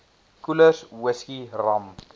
koelers whisky rum